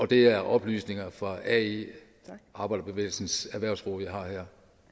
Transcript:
det er oplysninger fra ae arbejderbevægelsens erhvervsråd jeg har her